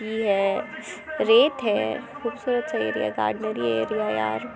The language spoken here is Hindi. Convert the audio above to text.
टी है। रेत है। कुछ च गार्डनेरी एरिया है यार --